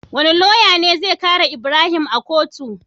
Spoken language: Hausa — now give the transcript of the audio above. Wane loya ne zai kare ibrahim a kotu?